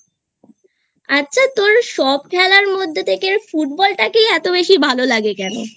আচ্ছা তোর সব খেলার মধ্যে থেকে Football টাকেই এত বেশি ভালো লাগে কেন?